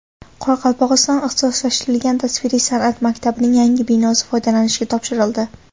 Qoraqalpog‘iston ixtisoslashtirilgan tasviriy san’at maktabining yangi binosi foydalanishga topshirildi.